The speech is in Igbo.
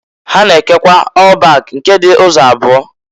Ha na-ekekwa ọl bak nke dị ụzọ abụo maọbụ.